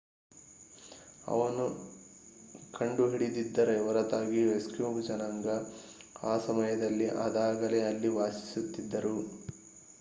ಅವನ ಕಂಡು ಹಿಡಿದಿದ್ದರ ಹೊರತಾಗಿಯೂ ಎಸ್ಕಿಮೊ ಜನಾಂಗ ಆ ಸಮಯದಲ್ಲಿ ಅದಾಗಲೇ ಅಲ್ಲಿ ವಾಸಿಸುತ್ತಿದ್ದರು